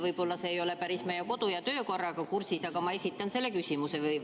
Võib-olla see ei ole päris meie kodu- ja töökorraga kooskõlas, aga ma esitan selle küsimuse.